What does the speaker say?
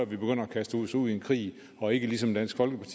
vi begynder at kaste os ud i en krig og ikke som dansk folkeparti